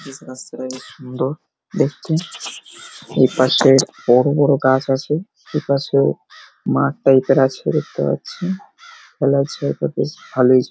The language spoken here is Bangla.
বেশ রাস্তাটা বেশ সুন্দর দেখতে। ওপাশে বড় বড় গাছ আছে। এপাশেও মাঠ টাইপ -এর আছে দেখতে পাচ্ছি। খেলার জায়গা বেশ ভালোই।